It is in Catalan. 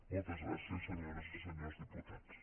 moltes gràcies senyores i senyors diputats